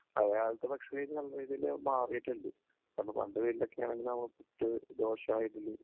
പഴയകാലത്തെ ഭക്ഷണ രീതി നല്ലരീതിയിൽ മാറിയിട്ടുണ്ട്. കാരണം പണ്ട് വീട്ടിലൊക്കെ ആണെങ്കിലും നമ്മൾ പുട്ട്, ദോശ, ഇഡലി